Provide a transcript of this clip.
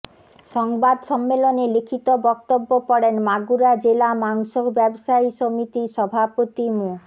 সংবাদ সম্মেলনে লিখিত বক্তব্য পড়েন মাগুরা জেলা মাংস ব্যবসায়ী সমিতির সভাপতি মো